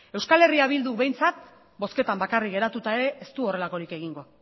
euskal herria bilduk behintzat bozketan bakarrik geratuta ere ez du horrelakorik egingo